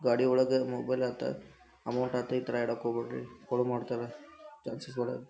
ಗಾಡಿ ಒಳಗ ಮೊಬೈಲ್ ಆತ ಅಮೌಂಟ್ ಆತ ಈಥರ ಇಡಾಕ್ ಹೋಗ್ಬ್ಯಾಡ್ರಿ ಕಳುವ್ ಮಾಡ್ತಾರ ಛಾನ್ಸಸ್ ಭಾಳ ಇರ್ತೈತಿ.